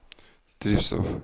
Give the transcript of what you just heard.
drivstoff